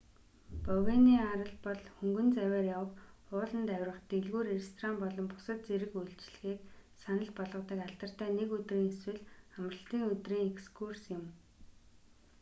бовений арал бол хөнгөн завиар явах ууланд авирах дэлгүүр ресторан болон бусад зэрэг үйлчилгээг санал болгодог алдартай нэг өдрийн эсвэл амралтын өдрийн экскурс юм